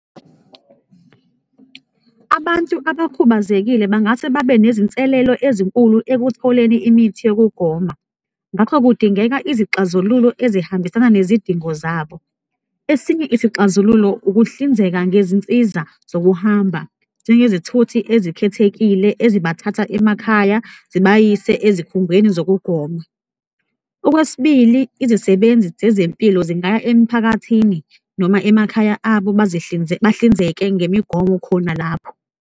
Abantu abakhubazekile bangase babe nezinselelo ezinkulu ekutholeni imithi yokugoma ngakho kudingeka izixazululo ezihambisana nezidingo zabo. Esinye isixazululo ukuhlinzeka ngezinsiza zokuhamba njengezithuthi ezikhethekile ezibathatha emakhaya zibayise ezikhungweni zokugoma. Okwesibili, izisebenzi zezempilo zingaya emphakathini noma emakhaya abo, bahlinzeke ngemigomo khona lapho.